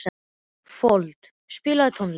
Fold, spilaðu tónlist.